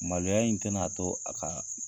Maloya in tɛn'a to a ka